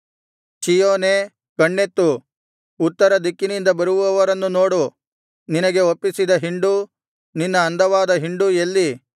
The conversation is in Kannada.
ಚೀಯೋನೇ ಕಣ್ಣೆತ್ತು ಉತ್ತರ ದಿಕ್ಕಿನಿಂದ ಬರುವವರನ್ನು ನೋಡು ನಿನಗೆ ಒಪ್ಪಿಸಿದ ಹಿಂಡು ನಿನ್ನ ಅಂದವಾದ ಹಿಂಡೂ ಎಲ್ಲಿ